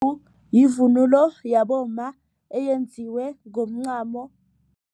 yivunulo yabomma eyenziwe ngomncamo.